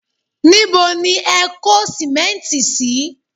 Níbo ni ẹ kó sìmẹ́ǹtì sí?